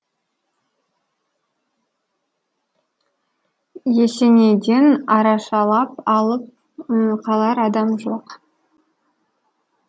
есенейден арашалап алып қалар адам жоқ